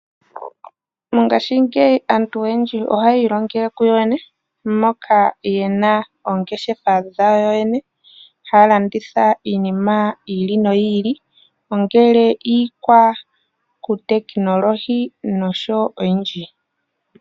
Mongashingeyi aantu oyendji ohaya ilongele kuyo yene , moka yena oongeshefa dhawo yene, haya landitha iinima yiili noyili ongele iikwatekinolohi noshowoo oyindji.